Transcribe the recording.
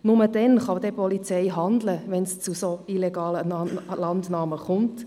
Nur so kann die Polizei handeln, wenn es zu illegalen Landnahmen kommt.